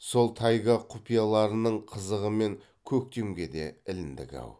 сол тайга құпияларының қызығымен көктемге де іліндік ау